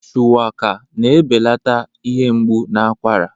Shuwaka na-ebelata ihe mgbu na akwara.